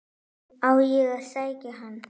Á ég að sækja hann?